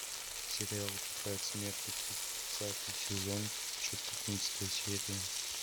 сериал тетрадь смерти тридцатый сезон четырнадцатая серия